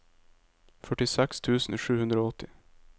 førtiseks tusen sju hundre og åtti